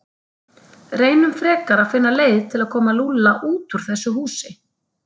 Reynum frekar að finna leið til að koma Lúlla út úr þessu húsi.